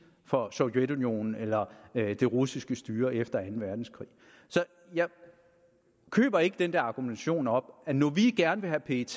for sovjetunionen eller det russiske styre efter anden verdenskrig så jeg køber ikke den der argumentation om at når vi gerne vil have at pet